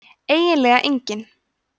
eiginlega enginn